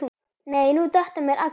nei nú detta mér allar.